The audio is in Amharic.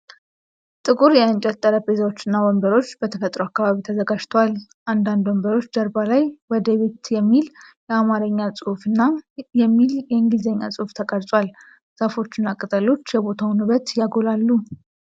ጥቁር የእንጨት ጠረጴዛዎችና ወንበሮች በተፈጥሮ አካባቢ ተዘጋጅተዋል። አንዳንድ ወንበሮች ጀርባ ላይ "ወደ ቤት" የሚል የአማርኛ ጽሑፍና የሚል የእንግሊዝኛ ጽሑፍ ተቀርጿል። ዛፎችና ቅጠሎች የቦታውን ውበት ያጎላሉ።